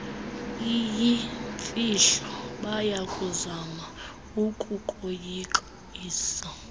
iyimfihlo bayakuzama ukukoyikisa